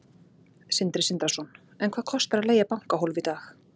Sindri Sindrason: En hvað kostar að leigja bankahólf í dag?